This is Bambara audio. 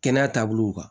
Kɛnɛya taabolo kan